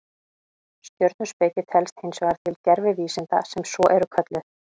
Stjörnuspeki telst hins vegar til gervivísinda sem svo eru kölluð.